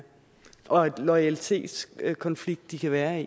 og loyalitetskonflikt de kan være